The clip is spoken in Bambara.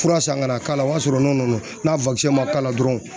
Fura san ka na k'a la o y'a sɔrɔ n'o nana n'a ma k'a la dɔrɔn